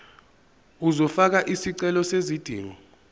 uzofaka isicelo sezidingo